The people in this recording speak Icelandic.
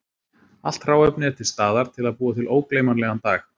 Allt hráefni er til staðar til að búa til ógleymanlegan dag.